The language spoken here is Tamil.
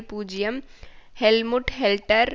பூஜ்ஜியம் ஹெல்முட் ஹோல்டெர்